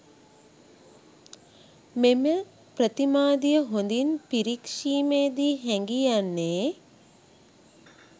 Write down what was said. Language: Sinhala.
මෙම ප්‍රතිමාදිය හොඳින් පිරීක්‍ෂීමේදී හැඟී යන්නේ